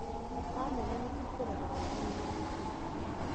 Kamera nĩ cikũrora waaganu na mĩtino